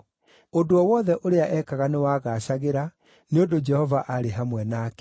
Ũndũ o wothe ũrĩa ekaga nĩwagaacagĩra, nĩ ũndũ Jehova aarĩ hamwe nake.